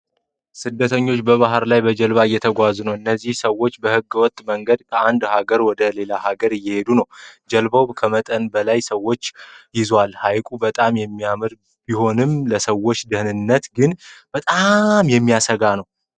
ስደተኞች በባህር ላይ በጀልባ እየተጓዙ ነው። እነዚህ ሰዎች በህገ ወጥ መንገድ ከአንድ ሀገር ወደ ሌላ ሀገር እየሄዱ ነው። ጀልባው ከመጠን በላይ ብዙ ሰዎችን ይዟል። ሐይቁ በጣም የሚያምር ቢሆንም ለሰዎቹ ደህንነት ግን በጣም ያሰጋል።